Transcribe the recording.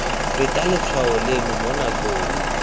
feta letshwao leno mo nakong